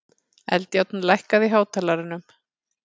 Eldjárn, lækkaðu í hátalaranum.